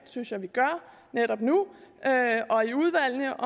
synes jeg vi gør netop nu og i udvalgene